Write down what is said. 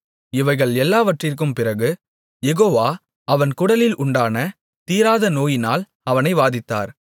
இவைகள் எல்லாவற்றிற்கும் பிறகு யெகோவா அவன் குடல்களில் உண்டான தீராத நோயினால் அவனை வாதித்தார்